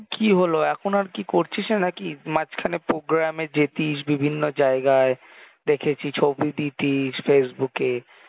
কি হলো এখন আরকি করছিসনা না কি? মাঝখানে program যেতিস বিভিন্ন জায়গায় দেখেছি ছবি দিতিস Facebook এ